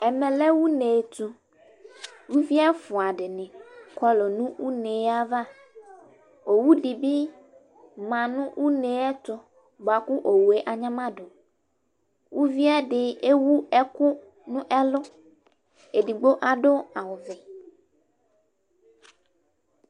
Ɛmɛ lɛ uneɛtʋUvi ɛfʋa dɩnɩ kɔlʊ nʋ une avaOwu dɩ bɩ ma nʋ une yɛtʋ bʋa owue anyamadʋUviɛdɩ ewu ɛkʋ nʋ ɛlʋ, edigbo adʋ awʋ vɛ